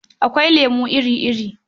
Akwai lemo iri-iri.